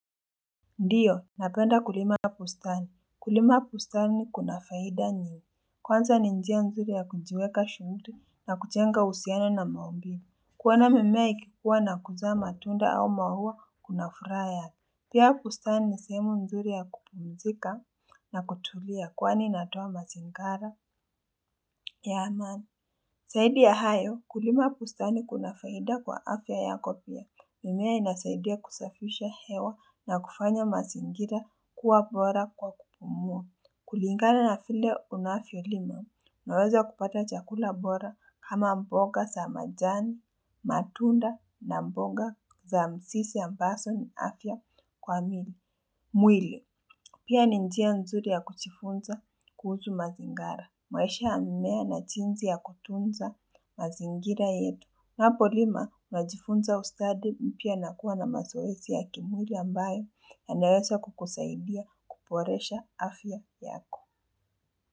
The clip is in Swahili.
Ndiyo, napenda kulima bustani. Kulima bustani ni kuna faida nyingi Kwanza ni njia nzuri ya kunjiweka shumtu na kujenga uhusiana na maumbile kuwana mimea ikipua na kuzaa tunda au maua kuna furaha yake. Pia pustani ni sehemu nzuri ya kupumzika na kutulia kwani inatoa masingara. Yaman. Saidi ya hayo, kulima pustani kuna faida kwa afya yako pia mimea inasaidia kusafisha hewa na kufanya mazingira kuwa bora kwa kupumua. Kulingana na file unafyo lima, maweza kupata chakula bora kama mboga sa majani, matunda na mboga za msisi ambaso ni afya kwa mili. Mwili, pia ninjia nzuri ya kuchifunza kuzu mazingara. Mwesha amimea na chinzi ya kutunza mazingira yetu. Napo lima, unajifunza ustadi mpia nakuwa na masoesi ya kimwili ambayo na naesa kukusaidia kuporesha afya yako.